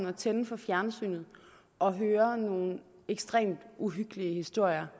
at tænde for fjernsynet og høre nogle ekstremt uhyggelige historier